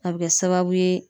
A be kɛ sababu ye